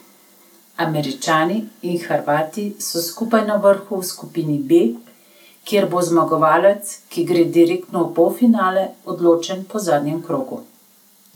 Američani in Hrvati so skupaj na vrhu v skupini B, kjer bo zmagovalec, ki gre direktno v polfinale, odločen po zadnjem krogu.